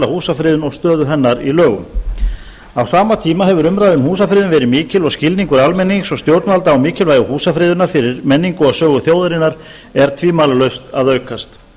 húsafriðun og stöðu hennar í lögum á sama tíma hefur umræða um húsafriðun verið mikil og skilningur almennings og stjórnvalda á mikilvægi húsafriðunar fyrir menningu og sögu þjóðarinnar er tvímælalaust að aukast